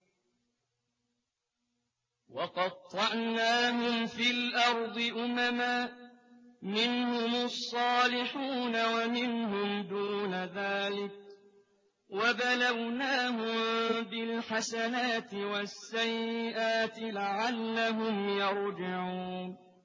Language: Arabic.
وَقَطَّعْنَاهُمْ فِي الْأَرْضِ أُمَمًا ۖ مِّنْهُمُ الصَّالِحُونَ وَمِنْهُمْ دُونَ ذَٰلِكَ ۖ وَبَلَوْنَاهُم بِالْحَسَنَاتِ وَالسَّيِّئَاتِ لَعَلَّهُمْ يَرْجِعُونَ